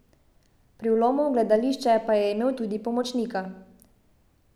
Pri vlomu v gledališče pa je imel tudi pomočnika.